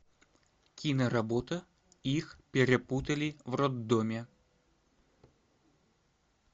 киноработа их перепутали в роддоме